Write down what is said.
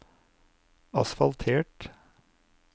asfaltert